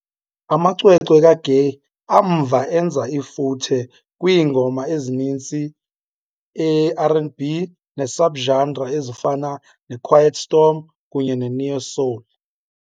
Amacwecwe kaGaye amva enza ifuthe kwiingoma ezininzi eeR and B neesubgenre, ezifana noquiet storm kunye noneo-soul.